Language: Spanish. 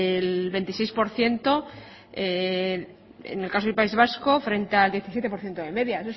el veintiséis por ciento en el caso del país vasco frente al diecisiete por ciento de media